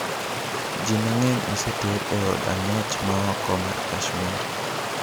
Ji mang'eny oseter e od ang'ech ma oko mar Kashmir.